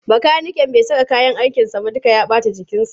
Makaniken bai saka kayyan aikinsa ba duka ya ɓata jikinsa.